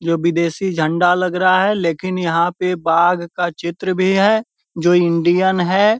जो विदेशी झंडा लग रहा है लेकिन यहाँ पे बाघ का चित्र भी है जो इंडियन है।